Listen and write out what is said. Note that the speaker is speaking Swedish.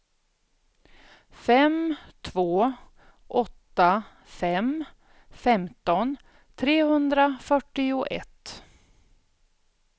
fem två åtta fem femton trehundrafyrtioett